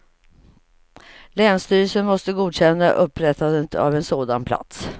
Länsstyrelsen måste godkänna upprättandet av en sådan plats.